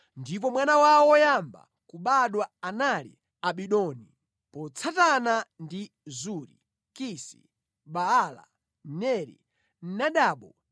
ndipo mwana wawo woyamba kubadwa anali Abidoni, motsatana ndi Zuri, Kisi, Baala, Neri, Nadabu,